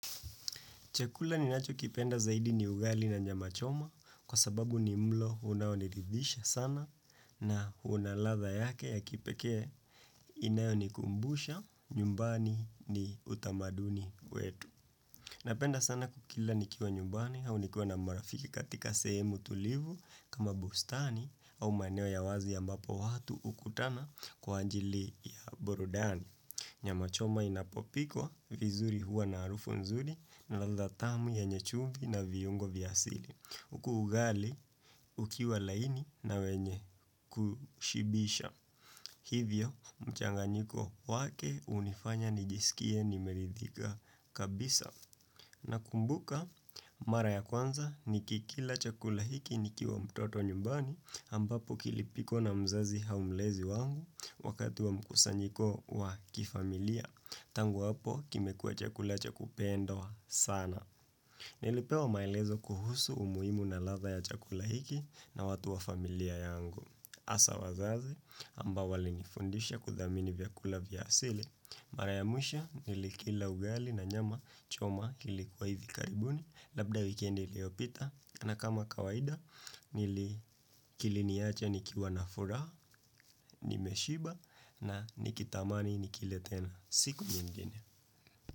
Chakula ninacho kipenda zaidi ni ugali na nyama choma kwa sababu ni mlo unaoniridhisha sana na una ladha yake ya kipekee inayo nikumbusha nyumbani ni utamaduni wetu. Napenda sana kukila nikiwa nyumbani au nikiwa na marafiki katika sehemu tulivu kama bustani au maneneo ya wazi ambapo watu ukutana kwa ajili ya burudani. Nyamachoma inapopikwa vizuri huwa na arufu nzuri na ladha tamu yenye chumvi na viyungo vya asili. Huku ugali ukiwa laini na wenye kushibisha. Hivyo mchanganyiko wake unifanya nijisikie nimeridhika kabisa. Na kumbuka mara ya kwanza ni kikila chakula hiki nikiwa mtoto nyumbani ambapo kilipikwa na mzazi au mlezi wangu wakati wa mkusanyiko wa kifamilia tangu hapo kimekuwa chakula chakupendwa sana nilipewa maelezo kuhusu umuimu na ladha ya chakula hiki na watu wa familia yangu asa wazazi ambao walinifundisha kudhamini vyakula vya asili mara ya mwisho nilikila ugali na nyama choma kilikuwa hivi karibu ni. Labda weekendi iliyopita, na kama kawaida Nili kiliniacha nikiwa na furaha, nimeshiba na nikitamani nikile tena siku nyingine.